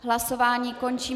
Hlasování končím.